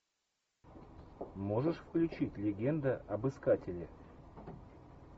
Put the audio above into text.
можешь включить легенда об искателе